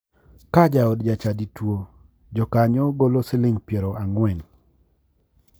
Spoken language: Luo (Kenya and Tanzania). Ka jaod ja chadi tuo, jokanyo golo siling piero ang'wen